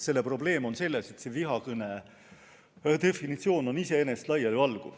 Probleem on selles, et vihakõne definitsioon on iseenesest laialivalguv.